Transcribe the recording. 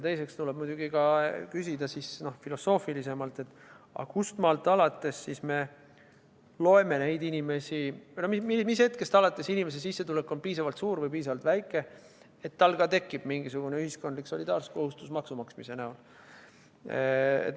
Teiseks tuleb muidugi küsida filosoofilisemalt: mis hetkest alates inimese sissetulek on piisavalt suur või piisavalt väike, et tal tekib mingisugune ühiskondlik solidaarsuskohustus maksude maksmise näol.